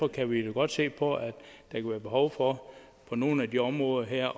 kan vi jo godt se på at der kan være behov for på nogle af de områder her